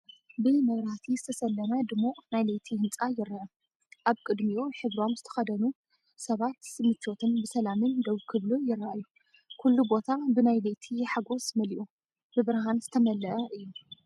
ብመብራህቲ ዝተሰለመ ድሙቕ ናይ ለይቲ ህንጻ ይረአ። ኣብ ቅድሚኡ ሕብሮም ዝተኸድኑ ሰባት ምቾትን ብሰላምን ደው ክብሉ ይረኣዩ። ኩሉ ቦታ ብናይ ለይቲ ሓጎስ መሊኡ፣ ብብርሃን ዝተመልአ እዩ።